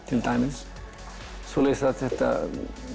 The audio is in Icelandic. til dæmis svoleiðis að þetta